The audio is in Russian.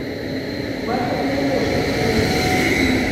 бархатные ножки фул эйч ди